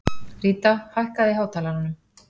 Ríta, hækkaðu í hátalaranum.